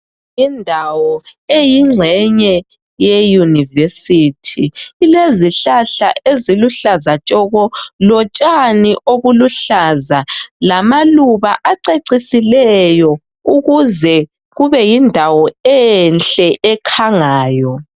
Indawo eyingxenye yeyunivesithi ilezihlahla eziluhlaza tshoko lotshani obuluhlaza lamaluba acecisileyo ukuze kubeyindawo enhle ekhangayo.